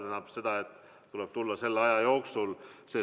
Aga jah, tuleb tulla selle aja jooksul.